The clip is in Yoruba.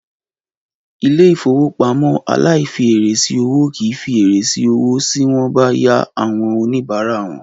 Ilé-ìfowópamọ́ aláìfièrè sí owó kì í fi èrè sí owó sí wọ́n bá yá àwọn oníbàárà wọn.